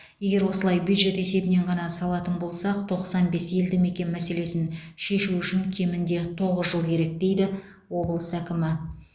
егер осылай бюджет есебінен ғана салатын болсақ тоқсан бес елді мекен мәселесін шешу үшін кемінде тоғыз жыл керек дейді облыс әкімі